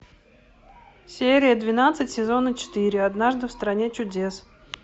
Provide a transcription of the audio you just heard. серия двенадцать сезона четыре однажды в стране чудес